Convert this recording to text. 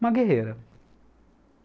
Uma guerreira.